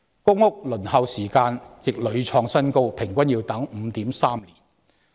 公屋輪候時間亦屢創新高，現時平均要等候 5.3 年。